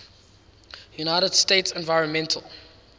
united states environmental